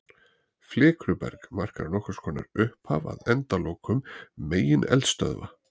Flikruberg markar nokkurs konar upphaf að endalokum megineldstöðva.